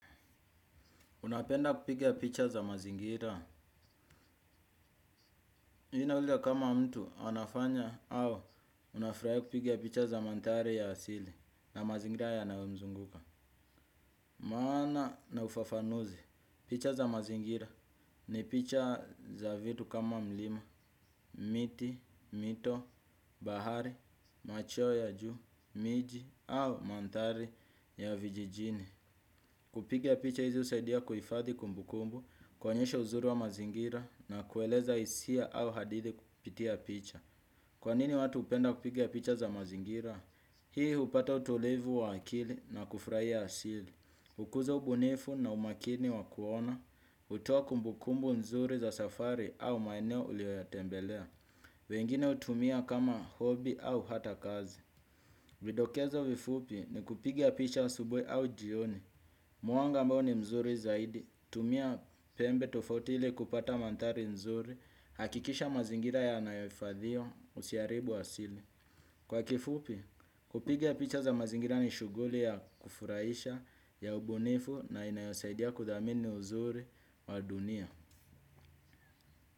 Unapenda kupiga picha za mazingira. Inauliaza kama mtu anafanya au unafutahia kupiga picha za manthari ya asili na mazingira yanayomzunguka. Maana na ufafanuzi. Picha za mazingira ni picha za vitu kama mlima, miti, mito, bahari, machweo ya juu, miji au manthari ya vijijini. Kupiga picha hizi usaidia kuifadhi kumbukumbu kuonyesha uzuri wa mazingira na kueleza isia au hadithi kupitia picha. Kwa nini watu hupenda kupiga picha za mazingira? Hii upata utulivu wa akili na kufurahia asili. Hukuza ubunifu na umakini wa kuona, hutoa kumbu kumbu nzuri za safari au maeneo ulio yatembelea. Wengine hutumia kama hobi au hata kazi. Vidokezo vifupi ni kupiga picha asubuhi au jioni. Mwanga ambao ni mzuri zaidi, tumia pembe tofauti ili kupata manthari mzuri, hakikisha mazingira yanayoifadhiwa usiaribu asili. Kwa kifupi, kupiga picha za mazingira ni shughuli ya kufuraisha ya ubunifu na inayosaidia kudhamini uzuri wa dunia.